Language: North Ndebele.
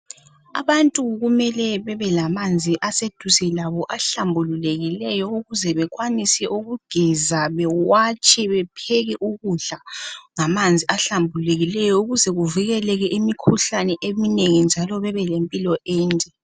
Abantu kumele bebe lamanzi eduze labo ahlambululekileyo ukuze bekwanise ukugeza, ukuwatsha lokupheka ukudla. Kumele bavikelele emikhuhlaneni eminengi ukuze babe lempilo enhle.